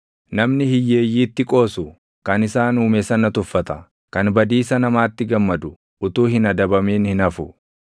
Namni hiyyeeyyiitti qoosu kan isaan Uume sana tuffata; kan badiisa namaatti gammadu utuu hin adabamin hin hafu.